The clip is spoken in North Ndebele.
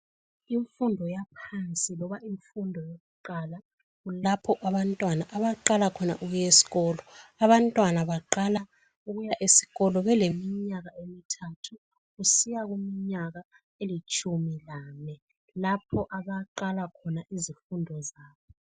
Imfundo yaphansi loba iyimfundo yokuqala. Kulapha abantwana abaqala khona ukuya esikolo. Abantwana baqala ukuya esikolo, beleminyaka emithathu kusiya kuminyaka, elitshumi lanye. Kulapha abaqala khona izifundo zabo.